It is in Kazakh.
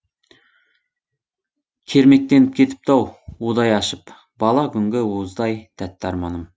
кермектеніп кетіпті ау удай ашып бала күнгі уыздай тәтті арманым